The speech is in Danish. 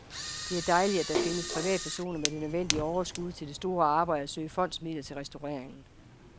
Det er dejligt, at der findes privatpersoner med det nødvendige overskud til det store arbejde at søge fondsmidler til restaureringen.